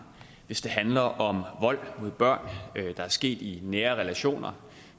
hvis det handler om vold mod børn der er sket i nære relationer